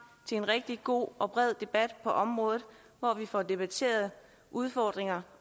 til en rigtig god og bred debat på området hvor vi får debatteret udfordringer